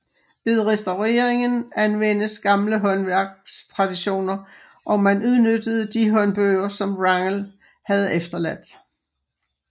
Ved restaureringen anvendes gamle håndværkstraditioner og man udnyttede de håndbøger som Wrangel havde efterladt